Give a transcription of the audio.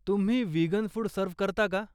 तुम्ही vegan food serve करता का?